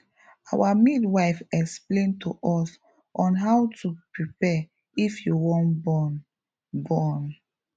our midwife explain to us on how to prepare if you wan born born